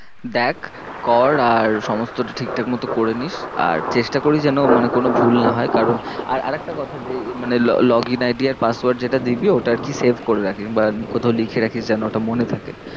দেখ কর আর সমস্তটা ঠিক ঠাক মতো করেনিস। আর চেষ্টা করিস যেন মানে কোনো ভুল না হয় কারণ আর একটা কথা যে মানে log in ID আর password যেটা দিবি ওটা আর কি save করে রাখবি। বা কোথাও লিখে রাখিস যেন ওটা মনে থাকে।